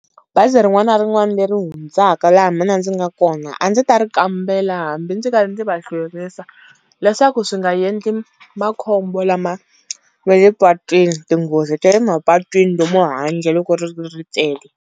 Bazi rin'wana na rin'wana leri hundzaka laha mina ndzi nga kona, a ndzi ta ri kambela hambi ndzi va ndzi va hlwerisa, leswaku swi nga endli makhombo lama ma le patwini tinghozi ta le mapatwini lomu handle loko ri ri ri tele.